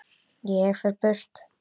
Ég fer burt.